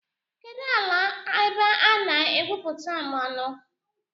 Kedụ ala ebe a na-egwupụta mmanụ?